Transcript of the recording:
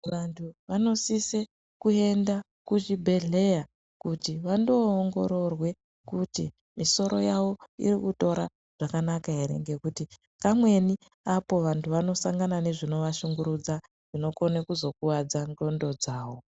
Vantu avnosise kuenda kuzvibhedhlera kuti vandoongororwe kuti misoro yavo irikutora zvakanaka ere ngukuti kamweni apo vanhu vanosangana nezvinovashungurudza zvinokone kuzokuwadza ndxondo dzavo.